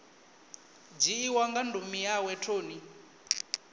dzhiiwa nga ndumi yawe toni